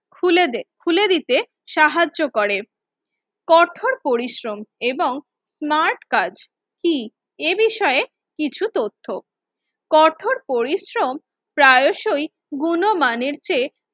খুলে দে খুলে দিতে সাহায্য করে। কঠোর পরিশ্রম এবং স্মার্ট কাজ কি? এ বিষয়ে কিছু তথ্য, কঠোর পরিশ্রম প্রয়াসই গুণমানের চেয়ে